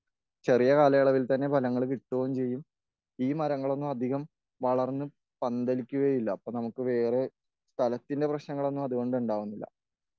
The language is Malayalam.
ചെറിയ കാലളവിൽ തന്നെ ഫലങ്ങൾ കിട്ടുകയും ചെയ്യും.ഈ ,മരങ്ങളൊന്നും അധികം വളർന്ന് പന്തലിക്കുകയും ഇല്ല.അപ്പൊ നമുക്ക് വേറെ സ്ഥലത്തിന്റെ പ്രശ്നങ്ങളൊന്നും അതുകൊണ്ട് ഉണ്ടാകുന്നില്ല.